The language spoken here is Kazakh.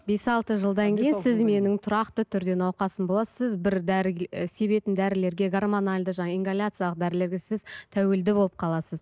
бес алты жылдан кейін сіз менің тұрақты түрде науқасым боласыз сіз бір дәріге себетін дәрілерге гормональды жаңа ингаляциялық дәрілерге сіз тәуелді болып қаласыз